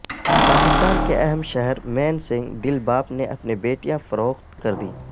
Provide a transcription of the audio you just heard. پاکستان کے اہم شہر مین سنگ دل باپ نے اپنی بیٹیاں فروخت کردیں